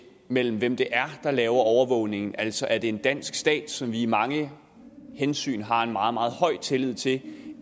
mellem hvem det er der laver overvågningen altså er en dansk stat som vi af mange hensyn har en meget meget højt tillid til